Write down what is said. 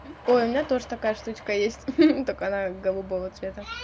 ой у меня тоже такая штучка есть хи-хи только она голубого цвета